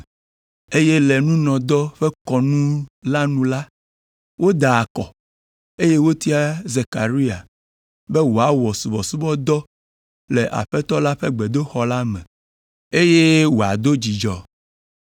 eye le nunɔdɔ ƒe kɔnu la nu la, woda akɔ, eye wotia Zekaria be wòawɔ subɔsubɔdɔ le Aƒetɔ la ƒe gbedoxɔ la me, eye wòado dzudzɔ.